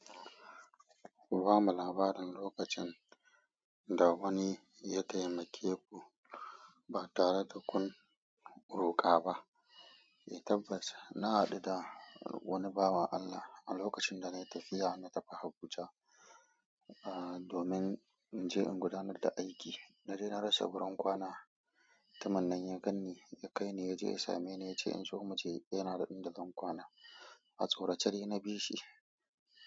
Bamu labarin lokacin dawani ya taimake ku ba tare da kun roƙa ba. Itaffas na hadu da wani bawan Allah a lokacin da na yi tafiya na tafi Habuja, ah domin in je in gudanar da aiki. Naje na rasa gurin kwana, tamanin ya ganni ya kai ni ya je ya sameni ya ce in zo mu je yanada inda zan kwana. A tsorace dai na bi shi.